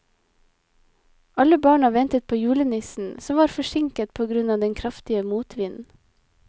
Alle barna ventet på julenissen, som var forsinket på grunn av den kraftige motvinden.